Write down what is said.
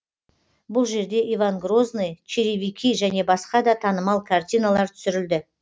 бұл жерде иван грозный черевики және басқа да танымал картиналар түсірілді